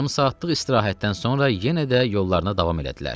Yarım saatlıq istirahətdən sonra yenə də yollarına davam elədilər.